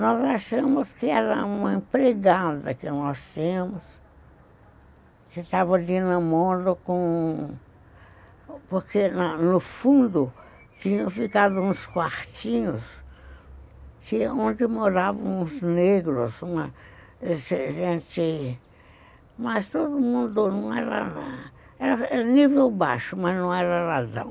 Nós achamos que era uma empregada que nós tínhamos, que estava de namoro com... Porque no fundo tinham ficado uns quartinhos, onde moravam uns negros, uma gente... Mas todo mundo não era... Era nível baixo, mas não era razão.